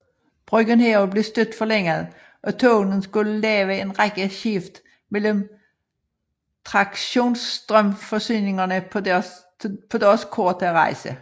Brugen heraf blev stødt forlænget og togene skulle lave en række skift mellem traktionsstrømforsyningerne på deres korte rejse